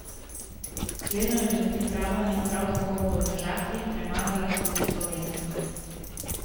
Slednjo je med pripravami prav tako v Podmežakli premagala tudi Slovenija.